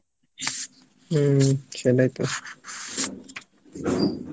হম সেটাই তো